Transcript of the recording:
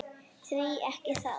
Því ekki það.